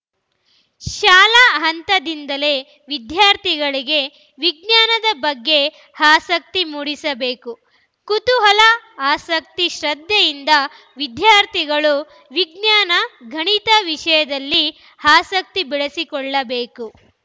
ಶಾಲಾ ಹಂತದಿಂದಲೇ ವಿದ್ಯಾರ್ಥಿಗಳಿಗೆ ವಿಜ್ಞಾನದ ಬಗ್ಗೆ ಆಸಕ್ತಿ ಮೂಡಿಸಬೇಕು ಕುತೂಹಲ ಆಸಕ್ತಿ ಶ್ರದ್ಧೆಯಿಂದ ವಿದ್ಯಾರ್ಥಿಗಳು ವಿಜ್ಞಾನ ಗಣಿತ ವಿಷಯದಲ್ಲಿ ಆಸಕ್ತಿ ಬೆಳೆಸಿಕೊಳ್ಳಬೇಕು